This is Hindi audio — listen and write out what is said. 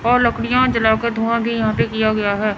और लकड़ियां जलाके धुआं भी यहां पे किया गया है।